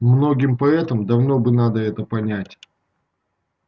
многим поэтам давно бы надо это понять